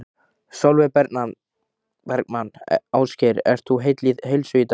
Sólveig Bergmann: Ásgeir, ert þú heill heilsu í dag?